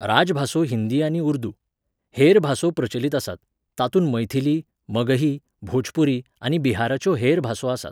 राजभासो हिंदी आनी उर्दू. हेर भासो प्रचलित आसात, तातूंत मैथिली, मगही, भोजपुरी आनी बिहाराच्यो हेर भासो आसात.